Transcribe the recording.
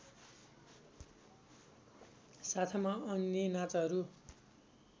साथमा अन्य नाचहरू